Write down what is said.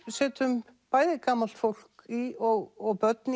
setjum bæði gamalt fólk í og börn